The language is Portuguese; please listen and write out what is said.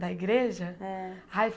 Da igreja? É Ai